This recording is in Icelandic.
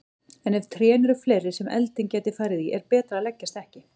En ef trén eru fleiri sem elding gæti farið í er betra að leggjast ekki.